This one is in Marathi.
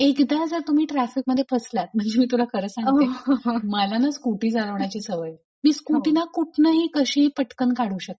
एकदा जर तुम्ही ट्राफिक मध्ये फसलात म्हणजे मी तुला खर सांगतेय मला ना स्कुटी चालवण्याची सवये मी स्कुटीला कुठनही कशीही पटकन काढू शकते.